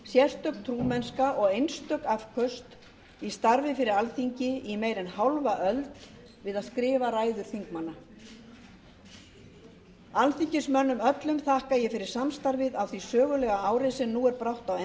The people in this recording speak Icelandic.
sérstök trúmennska og einstök afköst í starfi fyrir alþingi í meira en hálfa öld við að skrifa ræður þingmanna alþingismönnum öllum þakka ég fyrir samstarfið á því sögulega ári sem nú er brátt á